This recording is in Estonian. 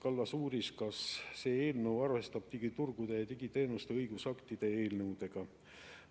Kallas uuris, kas see eelnõu arvestab digiturgude ja digiteenuste õigusaktide eelnõudega.